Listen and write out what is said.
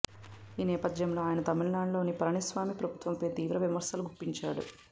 ఈ నేపథ్యంలో ఆయన తమిళనాడులోని పళనిస్వామి ప్రభుత్వంపై తీవ్ర విమర్శలు గుప్పించాడు